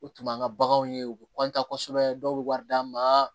O tun b'an ka baganw ye u bɛ kosɛbɛ dɔw bɛ wari d'an ma